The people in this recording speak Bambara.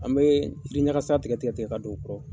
An bɛ yiriɲakasa tigɛ tigɛ ka don o kɔrɔ,